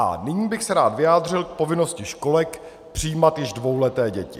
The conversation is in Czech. A nyní bych se rád vyjádřil k povinnosti školek přijímat již dvouleté děti.